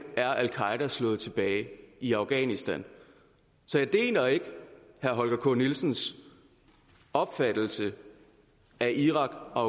er al qaeda slået tilbage i afghanistan så jeg deler ikke herre holger k nielsens opfattelse af irak og